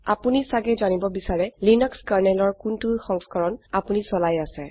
আপোনি ছাগে জানিব বিছাৰে লিনাক্স kernelঅৰ কোনটো সংস্কৰণ আপোনি চলাই আছে